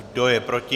Kdo je proti?